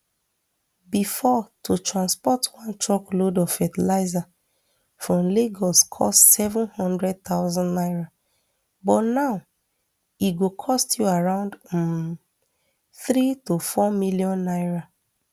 bifor to transport one truckload of fertilizer from lagos cost seven hundred thousand naira but now e go cost you around um three to four million naira